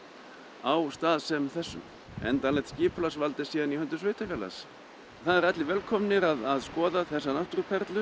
á stað sem þessum endanlegt skipulagsvald er síðan í höndum sveitarfélags það eru allir velkomnir að skoða þessar náttúruperlur